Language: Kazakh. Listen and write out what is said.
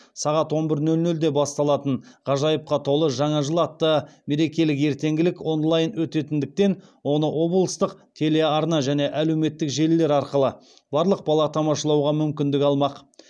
сағат он бір нөл нөлде басталатын ғажайыпқа толы жаңа жыл атты мерекелік ертеңгілік онлайн өтетіндіктен оны облыстық телеарна және әлеуметтік желілер арқылы барлық бала тамашалауға мүмкіндік алмақ